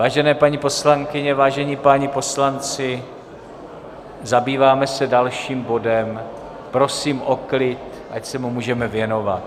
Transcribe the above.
Vážené paní poslankyně, vážení páni poslanci, zabýváme se dalším bodem, prosím o klid, ať se mu můžeme věnovat.